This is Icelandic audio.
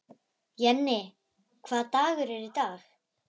Jenni, hvaða dagur er í dag?